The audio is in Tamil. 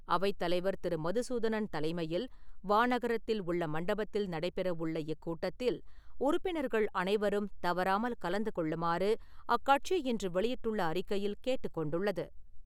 அவைத்தலைவர் திரு. மதுசூதனன் தலைமையில், வானகரத்தில் உள்ள மண்டபத்தில் நடைபெற உள்ள இக்கூட்டத்தில் உறுப்பினர்கள் அனைவரும் தவறாமல் கலந்து கொள்ளுமாறு அக்கட்சி இன்று வெளியிட்டுள்ள அறிக்கையில் கேட்டுக் கொண்டுள்ளது.